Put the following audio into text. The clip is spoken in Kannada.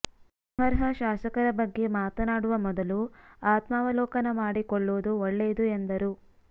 ಅನರ್ಹ ಶಾಸಕರ ಬಗ್ಗೆ ಮಾತನಾಡುವ ಮೊದಲು ಆತ್ಮಾವಲೋಕನ ಮಾಡಿಕೊಳ್ಳುವುದು ಒಳ್ಳೆಯದು ಎಂದರು